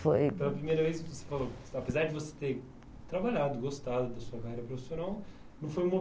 Foi... Pela primeira vez, você falou, apesar de você ter trabalhado, gostado da sua carreira profissional, não foi uma